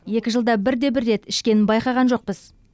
екі жылда бірде бір рет ішкенін байқаған жоқпыз